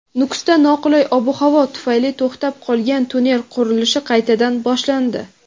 Nukusda noqulay ob-havo tufayli to‘xtab qolgan tunnel qurilishi qaytadan boshlandi.